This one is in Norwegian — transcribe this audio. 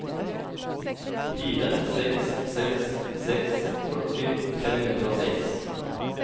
fire seks seks seks førti fem hundre og seks